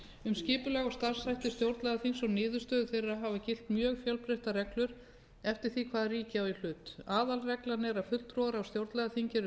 um skipulag og starfshætti stjórnlagaþinga og niðurstöður þeirra hafa gilt mjög fjölbreyttar reglur eftir því hvaða ríki á í hlut aðalreglan er að fulltrúar á stjórnlagaþingi séu